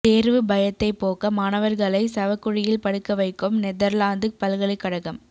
தேர்வு பயத்தை போக்க மாணவர்களை சவக்குழியில் படுக்க வைக்கும் நெதர்லாந்து பல்கலைக்கழகம்